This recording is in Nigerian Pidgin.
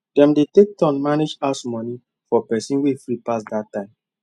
dem dey take turn manage house money for person way free pass that time